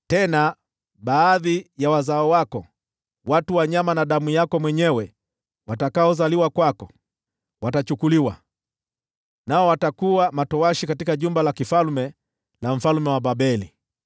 Nao baadhi ya wazao wako, nyama yako na damu yako mwenyewe watakaozaliwa kwako, watachukuliwa mbali, nao watakuwa matowashi katika jumba la mfalme wa Babeli.”